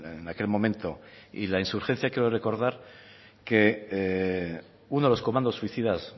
en aquel momento y la insurgencia creo recordar que uno de los comandos suicidas